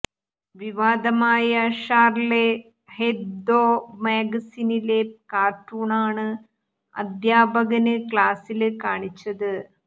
വിവാദമായ Charlie Hebdo മാഗസിനിലെ കാര്ട്ടൂണാണ് അധ്യാപകന് ക്ലാസില് കാണിച്ചത്